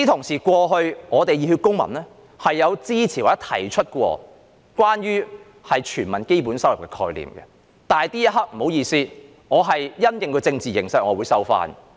此外，熱血公民過去曾支持或提出關於全民基本收入的概念，但不好意思，因應政治形勢，這刻我會收回這番言論。